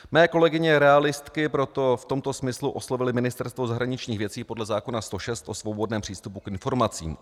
Mé kolegyně realistky proto v tomto smyslu oslovily Ministerstvo zahraničních věcí podle zákona 106 o svobodném přístupu k informacím.